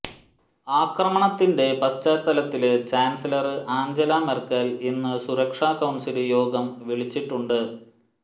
ആക്രമണത്തിന്റെ പശ്ചാത്തലത്തില് chancellor Angela Merkel ഇന്നു സുരക്ഷാ കൌണ്സില് യോഗം വിളിച്ചിട്ടുണ്ട്